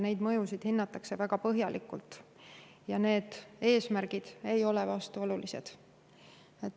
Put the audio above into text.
Neid mõjusid hinnatakse väga põhjalikult ja need eesmärgid ei ole vastuolulised.